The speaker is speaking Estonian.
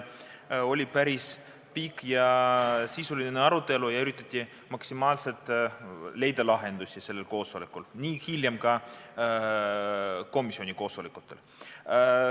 Oli päris pikk ja sisuline arutelu ning üritati maksimaalselt leida lahendusi nii sellel koosolekul kui ka hiljem komisjoni koosolekutel.